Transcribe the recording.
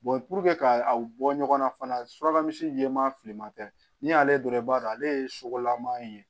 puruke ka bɔ ɲɔgɔn na fana suraka misi jɛman filiman tɛ n'i y'ale dɔrɔn i b'a dɔn ale ye sogolaman ye